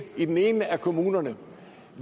i den ene af kommunerne